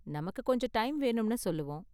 நமக்கு கொஞ்சம் டைம் வேணும்னு சொல்லுவோம்.